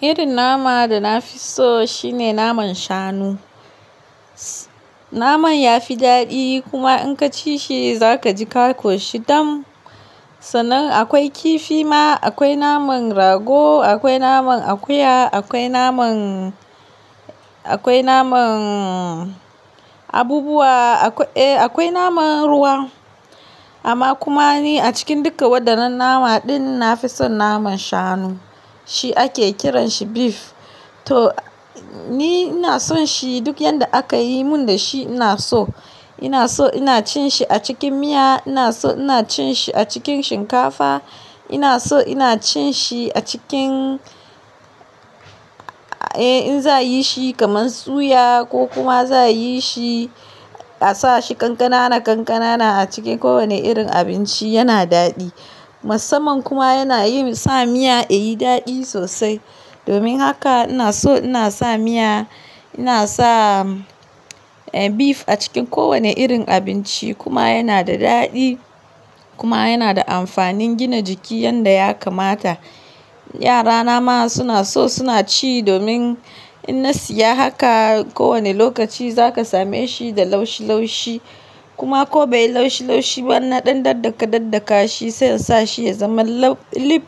Irin nama da na fi so shine naman shanu. Naman ya fi daɗi kuma in ka ci shi za ka ji ka koshi dam. Sannan akwai kifi ma, akwai naman rago, akwai naman akuya, akwai naman, akwai naman abubuwa, eh akwai naman ruwa. Amma kuma ni a cikin dukka waɗannan nama din na fi son naman shanu. Shi ake kiranshi beef. To ni ina son shi duk yanda aka yi mun da shi ina so. Ina so ina cin shi a cikin miya, ina so ina cin shi a cikin shinkafa, ina so ina cin shi a cikin, eh in za a yi shi kamar suya ko kuma za a yi shi a sa shi kankana kankana a cikin kowane irin abinci yana daɗi. Musaman kuma yana yi sa miya ya yi daɗi sosai. Domin haka ina so ina sa miya, ina sa beef a cikin kowane irin abinci kuma yana da daɗi kuma yana da amfanin gina jiki yanda ya kamata. Yara na ma suna so suna ci domin in na siya haka ko wane lokaci za ka same shi da laushi laushi. Kuma ko bai yi laushi laushi ba in na ɗan daddaka daddaka shi sai in sa shi ya zama lau-- beef,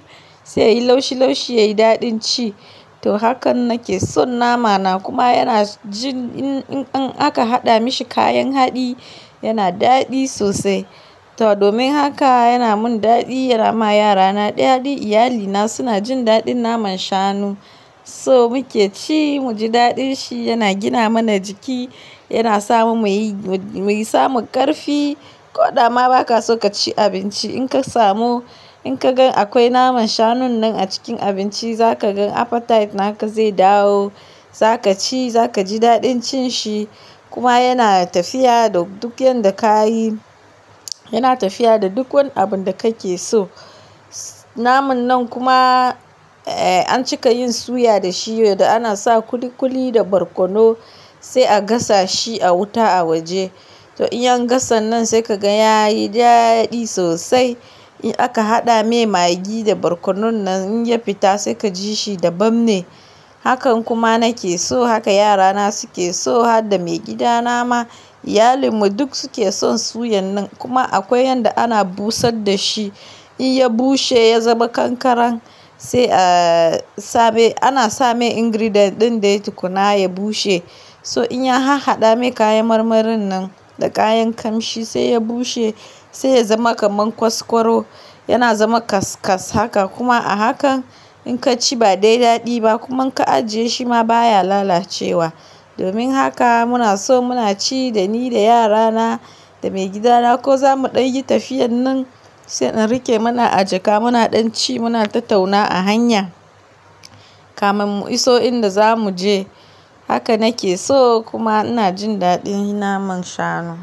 sai yayi laushi laushi yayi daɗin ci. To hakan nake son nama na kuma yana jin in, in, in aka haɗa mashi kayan haɗi yana daɗi sosai. To domin haka yana mun daɗi yana ma yarana daɗi. Iyali na suna jin daɗin naman shanu. So muke ci, mu ji daɗin shi, yana gina mana jiki, yana samun muyi, muyi samu ƙarfi. Ko dama ba ka so ka ci abinci in ka samu, in ka gan akwai naman shanun nan a cikin abinci za ka gan appetite naka zai dawo. Za ka ci, za ka ji daɗin cin shi kuma yana tafiya da duk yanda ka yi. Yana tafiya da duk wani abun da kake so. Naman nan kuma, eh an cika yin suya da shi yadda ana sa kuli kuli da barkono sai a gasa shi a wuta a waje. To in an gasan nan sai ka gan ya yi daɗi sosai. In aka haɗa mai magi da barkonon nan in ya fita sai ka ji shi daban ne. Hakan kuma nake so, haka yarana su ke so, har da maigidana ma. Iyalin mu duk su ke son suyan nan. Kuma akwai yanda ana busar da shi. In ya bushe ya zama kankaran sai a sa mai, ana sa mai ingredient ɗin dai tukunna ya bushe. So in ya ha-haɗa me kayan marmarin nan da kayan kamshi sai ya bushe sai ya zama kamar kwas kwaro. Yana zama kaskas haka kuma a hakan in ka ci ba dai daɗi ba, kuma ka ajiye shi ma baya lalacewa. Domin haka muna so muna ci da ni da yara na da maigida na ko za mu ɗan yi tafiyan nan sai in rike mana ajaka muna ɗan ci muna tattauna a hanya kafin mu iso inda za mu je. Haka nake so kuma ina jin daɗin naman shanu.